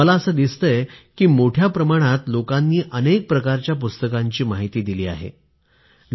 मला असं दिसलंय की मोठ्या प्रमाणावर लोकांनी अनेक प्रकारच्या पुस्तकांची माहिती परस्परांना दिली